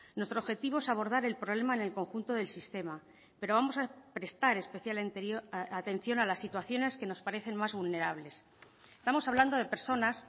nuestro objetivo es abordar el problema en el conjunto del sistema pero vamos a prestar especial atención a las situaciones que nos parecen más vulnerables estamos hablando de personas